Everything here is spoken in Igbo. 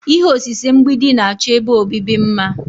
Ihe osise mgbidi na-achọ ebe obibi mma.